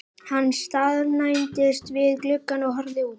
Hann staðnæmdist við gluggann og horfði út.